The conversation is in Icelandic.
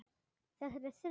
Þetta er í þriðja sinn.